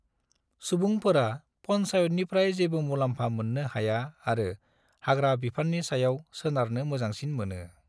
सुबुंफोरा पन्चायतनिफ्राय जेबो मुलाम्फा मोन्नो हाया आरो हाग्रा बिफान्नि सायाव सोनारनो मोजांसिन मोनो।